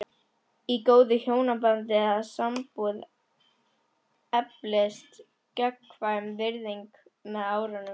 Í góðu hjónabandi eða sambúð eflist gagnkvæm virðing með árunum.